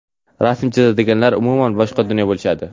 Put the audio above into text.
Rasm chizadiganlar - umuman boshqa dunyo bo‘lishadi.